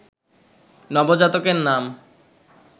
নবজাতকের নাম